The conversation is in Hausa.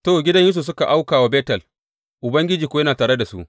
To, gidan Yusuf suka auka wa Betel, Ubangiji kuwa yana tare da su.